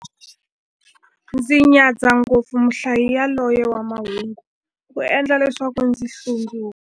Ndzi nyadza ngopfu muhlayi yaloye wa mahungu, u endla leswaku ndzi hlundzuka.